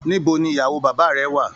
Níbo ní ìyàwó bàbá rẹ wà?